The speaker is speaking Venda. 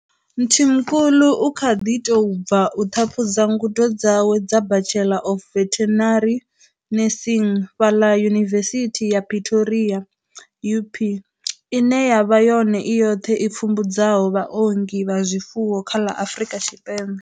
Mthimkhulu u kha ḓi tou bva u ṱhaphudza ngudo dzawe dza Bachelor of Veterinary Nursing fhaḽa Yunivesithi ya Pretoria UP, ine ya vha yone i yoṱhe i pfumbudzaho vhaongi vha zwifuwo kha ḽa Afrika Tshipembe.